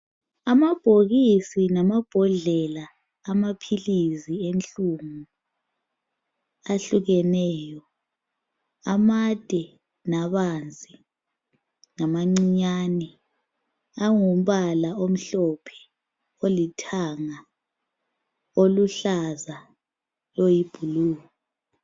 Amabhokisi lamabhodlela amaphilizi enhlungu ahlukeneyo amade labanzi lamancinyane angumbala omhlophe olithanga oluhlaza oyibhulu.